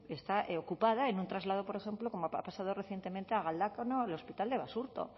está ocupada en un traslado por ejemplo como ha pasado recientemente a galdácano al hospital de basurto